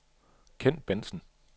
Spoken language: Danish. Kent Bentzen